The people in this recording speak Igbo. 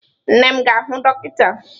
Nne m ga-ahụ dọkịta.